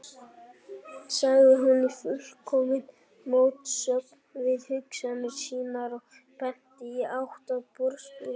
sagði hún, í fullkominni mótsögn við hugsanir sínar og benti í átt að borðstofunni.